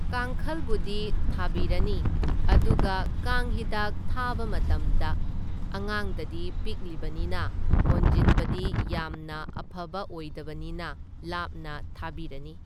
ꯀꯥꯡꯈꯜꯕꯨꯗꯤ ꯊꯥꯕꯤꯔꯅꯤ, ꯑꯗꯨꯒ ꯀꯥꯡ ꯍꯤꯗꯥꯛ ꯊꯥꯕ ꯃꯇꯝꯗ ꯑꯉꯥꯡꯗꯗꯤ ꯄꯤꯛꯂꯤꯕꯅꯤꯅ ꯍꯣꯟꯖꯤꯟꯕꯗꯤ ꯌꯥꯝꯅ ꯑꯐꯕ ꯑꯣꯏꯗꯕꯅꯤꯅ ꯂꯥꯞꯅ ꯊꯥꯕꯤꯔꯅꯤ꯫